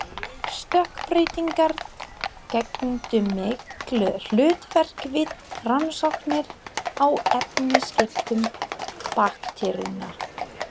Stökkbreytingar gegndu miklu hlutverki við rannsóknir á efnaskiptum bakteríunnar.